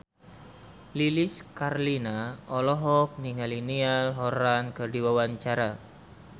Lilis Karlina olohok ningali Niall Horran keur diwawancara